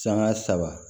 Sanga saba